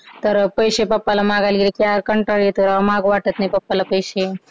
तर पैशे पप्पा ला मागायला गेले तर यार कंटाळा येतो राव माग वाटत नाही पप्पा ला पैशे